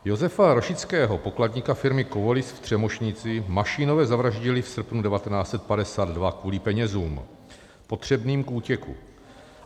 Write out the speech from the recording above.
Josefa Rošického, pokladníka firmy Kovolis v Třemošnici, Mašínové zavraždili v srpnu 1952 kvůli penězům potřebným k útěku.